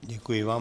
Děkuji vám.